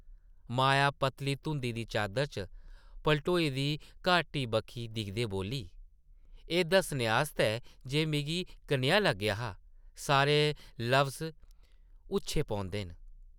माया पतली धुंदा दी चादरा च पलटोई दी घाटी बक्खी दिखदे बोल्ली, एह् दस्सने आस्तै जे मिगी कनेहा लग्गेआ हा सारे लफ्ज़ हुच्छे पौंदे न ।